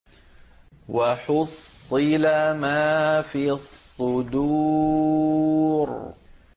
وَحُصِّلَ مَا فِي الصُّدُورِ